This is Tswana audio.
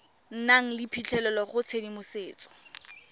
nang le phitlhelelo go tshedimosetso